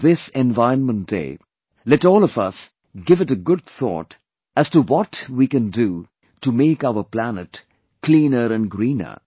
On this environment day, let all of us give it a good thought as to what can we do to make our planet cleaner and greener